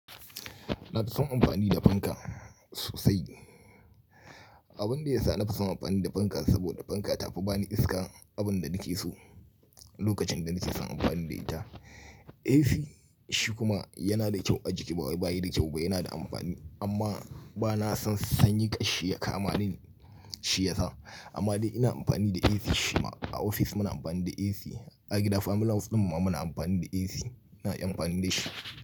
Na fi son amfani da fanka sosai. Abun da ya sa na fi son amfani da fanka saboda fanka ta fi bani iska. Abin da nake so lokacin da nake son amfani da ita. AC shi kuma yana da kyau a jiki ba wai ba yi da kyau ba, yana da ampani amma ba na son sanyi kashi ya kama ni Shi yasa amma dai ina ampani da AC shi ma. A ofis muna ampani da AC, a gida family house ɗin mu ma muna ampani da AC. Ina iya ampani da shi.